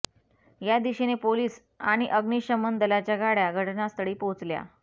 त्या दिशेने पोलीस आणि अग्मिशमन दलाच्या गाड्या घटनास्थळी पोहोचल्या